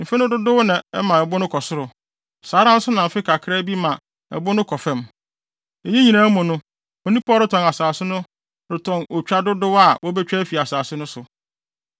Mfe no dodow na ɛma ɛbo no kɔ soro. Saa ara nso na mfe kakra bi ma ɛbo no kɔ fam. Eyinom nyinaa mu no, onipa a ɔretɔn asase no retɔn otwa dodow a wobetwa afi asase no so.